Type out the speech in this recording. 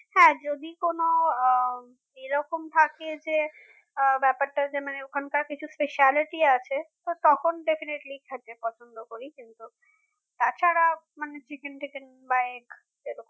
হ্যাঁ যদি কোনও উম এরকম থাকে যে ব্যাপারটা যে মানে ওখানকার কিছু specialty আছে তখন definitely খেতে পছন্দ করি কিন্তু তা ছাড়া মানে chicken টিকেন বা egg এরকম